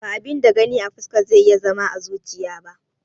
Ba abin da Gani a fuska zai iya zama à zuchiya ba